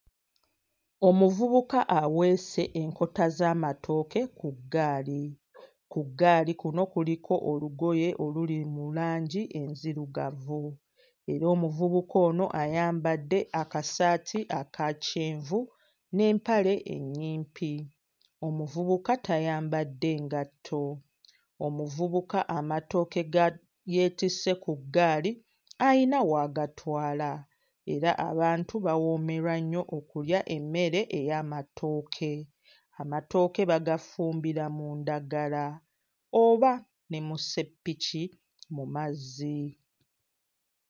Omuvubuka aweese enkota z'amatooke ku ggaali. Ku ggaali kuno kuliko olugoye oluli mu langi enzirugavu era omuvubuka ono ayambadde akasaati aka kyenvu n'empale ennyimpi omuvubuka tayambadde ngatto. Omuvubuka amatooke ga yeetisse ku ggaali ayina w'agatwala era abantu bawoomerwa nnyo okulya emmere ey'amatooke. Amatooke bagafumbira mu ndagala oba ne mu sseppiki mu mazzi.